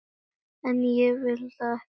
En ég vil það ekki.